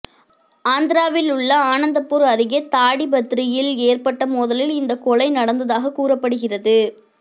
ஆந்திராவில் உள்ள அனந்தபூர் அருகே தாடிபத்ரியில் ஏற்பட்ட மோதலில் இந்தக்கொலை நடந்ததாகக் கூறப்படுக்கிறது